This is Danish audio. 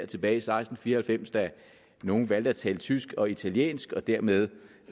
tilbage i seksten fire og halvfems da nogle valgte at tale tysk og italiensk og dermed